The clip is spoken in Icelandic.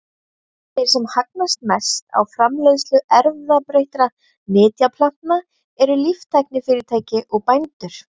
Þeir sem hagnast mest á framleiðslu erfðabreyttra nytjaplantna eru líftæknifyrirtæki og bændur.